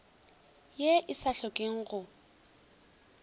ye e sa hlokeng go